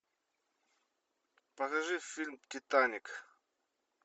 покажи фильм титаник